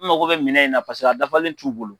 N mago bɛ minɛ in na paseke a dafalen t'u bolo.